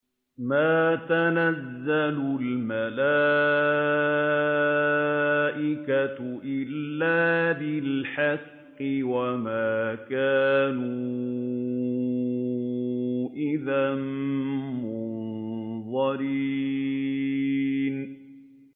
مَا نُنَزِّلُ الْمَلَائِكَةَ إِلَّا بِالْحَقِّ وَمَا كَانُوا إِذًا مُّنظَرِينَ